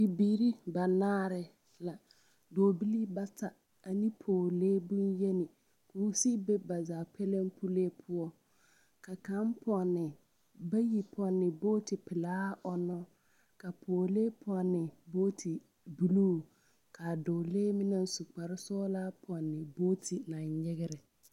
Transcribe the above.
Bibiiri banaare la, dͻͻbilii bata ane pͻgelee boŋyeni, koo sigi be ba zaa pulee poͻ. Ka kaŋ pͻnne bayi pͻnne booti-pelaa ͻnnͻ. Ka pͻgelee pͻnne bogiti buluu ka a dͻͻlee meŋ naŋ su kpare sͻgelaa pͻnne booti naŋ nyegerԑ.